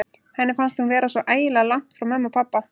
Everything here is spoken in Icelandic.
Henni fannst hún vera svo ægilega langt frá pabba og mömmu.